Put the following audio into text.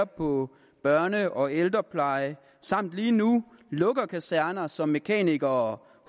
på børnepleje og ældrepleje samt lige nu lukker kaserner så mekanikere